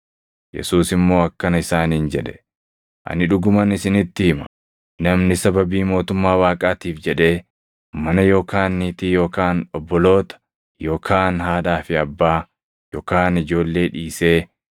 Yesuus immoo akkana isaaniin jedhe; “Ani dhuguman isinitti hima; namni sababii mootummaa Waaqaatiif jedhee mana yookaan niitii yookaan obboloota yookaan haadhaa fi abbaa yookaan ijoollee dhiisee,